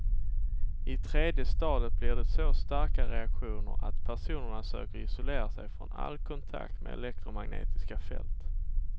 I tredje stadiet blir det så starka reaktioner att personerna söker isolera sig från all kontakt med elektromagnetiska fält.